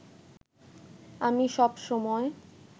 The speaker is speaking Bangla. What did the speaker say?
আমি সব সময়